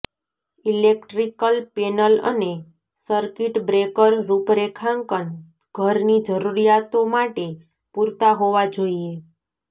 electrical panel અને circuit breaker રૂપરેખાંકન ઘરની જરૂરિયાતો માટે પૂરતા હોવા જોઈએ